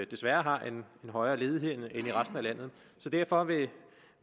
desværre har en højere ledighed end resten af landet så derfor